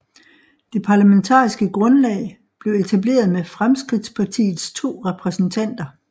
Det parlamentariske grundlag blev etableret med Fremskrittspartiets to repræsentanter